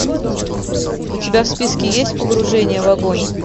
у тебя в списке есть погружение в огонь